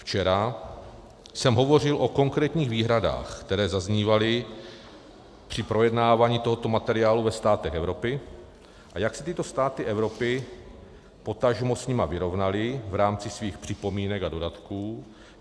Včera jsem hovořil o konkrétních výhradách, které zaznívaly při projednávání tohoto materiálu ve státech Evropy, a jak se tyto státy Evropy potažmo s nimi vyrovnaly v rámci svých připomínek a dodatků.